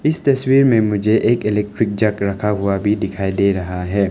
इस तस्वीर में मुझे एक इलेक्ट्रिक जग रखा हुआ भी दिखाई दे रहा है।